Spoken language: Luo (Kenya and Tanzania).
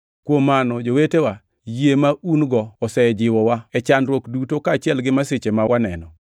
Kuom mano, jowetewa, yie ma un-go osejiwowa e chandruok duto kaachiel gi masiche ma waneno.